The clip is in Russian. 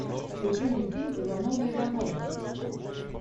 включи мне фильм ивановы ивановы